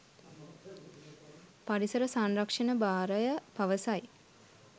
පරිසර සංරක්ෂණ භාරය පවසයි